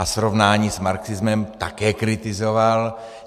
A srovnání s marxismem také kritizoval.